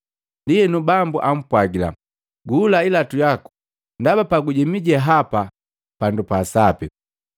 Ndienu Bambu ampwagila, ‘Guhula ilatu yaku ndaba pagujemi je hapa pandu pa sapi.